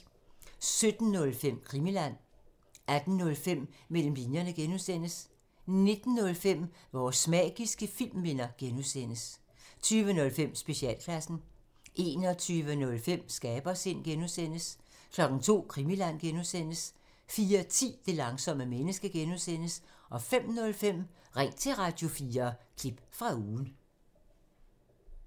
17:05: Krimiland 18:05: Mellem linjerne (G) 19:05: Vores magiske filmminder (G) 20:05: Specialklassen 21:05: Skabersind (G) 02:00: Krimiland (G) 04:10: Det langsomme menneske (G) 05:05: Ring til Radio4 – klip fra ugen